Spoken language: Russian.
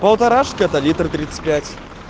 полторашка это литр тридцать пять